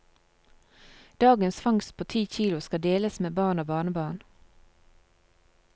Dagens fangst på ti kilo skal deles med barn og barnebarn.